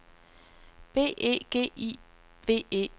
B E G I V E